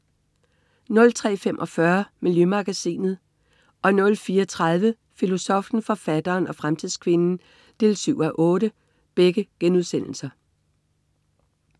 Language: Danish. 03.45 Miljømagasinet* 04.30 Filosoffen, forfatteren og fremtidskvinden 7:8*